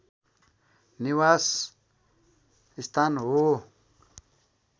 निवास स्थान हो